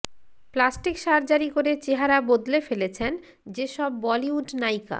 plastic surgery করে চেহারা বদলে ফেলেছেন যেসব বলিউড নায়িকা